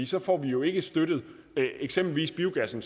så får vi jo ikke støttet eksempelvis biogassen